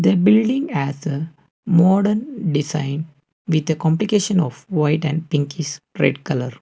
the building has a modern design with a complication of white and pinkish red colour.